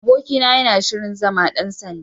Abokina yana shirin zama ɗan sanda.